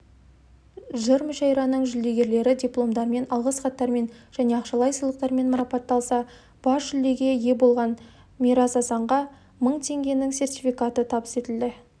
жыр мүшәйраның жүлдегерлері дипломдармен алғыс хаттармен және ақшалай сыйлықтармен марапатталса бас жүлдеге ие болған мирас асанға мың теңгенің сертификаты табыс етілді